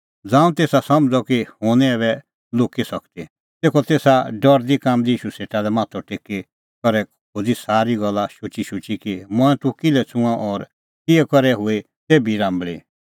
ज़ांऊं तेसा समझ़अ कि हुंह निं ऐबै लुक्की सकदी तेखअ तेसा डरदीकाम्बदी ईशू सेटा माथअ टेकी करै खोज़ी सारी गल्ला शुचीशुची कि मंऐं तूह किल्है छ़ुंअ और किहै करै हुई तेभी राम्बल़ी